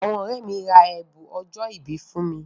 Àwọn ọ̀rẹ́ mi ra ẹ̀bùn ọjọ́ ìbí fún mi.